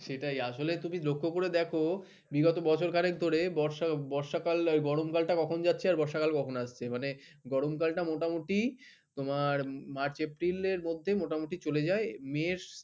সেটাই আসলে তুমি লক্ষ্য করে দেখো বিগত বছরখানেক ধরে বর্ষা বর্ষাকাল গরমকালটা কখন যাচ্ছে আর বর্ষাকাল টা কখন আসছে মানে গরমকালটা মোটামুটি তোমার মানে মার্চ এপ্রিলের মধ্যে মোটামুটি চলে যায় মে